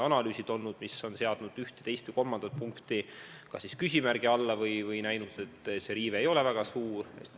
Analüüsid, mis on seadnud üht, teist või kolmandat punkti küsimärgi alla, on hinnanud, et riive ei ole väga suur.